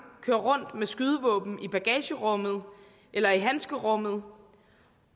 kører rundt med skydevåben i bagagerummet eller i handskerummet